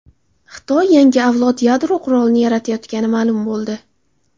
Xitoy yangi avlod yadro qurolini yaratayotgani ma’lum bo‘ldi.